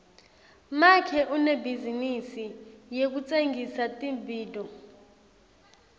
make unebhizinisi yekutsengisa tibhidvo